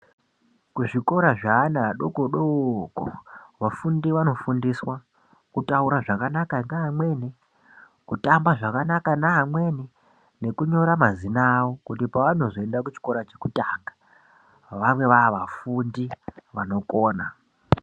Kuzvikora zveana adoko doko vafundi vanofundiswa kutaura zvakanaka nevamweni kutamba zvakanaka nevamweni kunyora mazina awo kuti panozoenda kuchikora chekutanga vave vavafundi vanokona.